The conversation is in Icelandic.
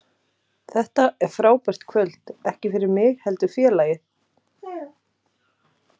Þetta er frábært kvöld, ekki fyrir mig heldur félagið.